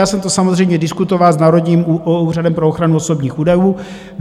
Já jsem to samozřejmě diskutoval s Národním úřadem pro ochranu osobních údajů.